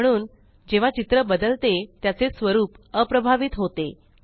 म्हणून जेव्हा चित्र बदलते त्याचे स्वरूप अप्रभावित होते